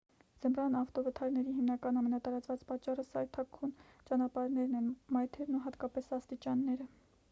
ձմռան ավտովթարների հիմնական ամենատարածված պատճառը սայթաքուն ճանապարհներն են մայթերն ու հատկապես աստիճանները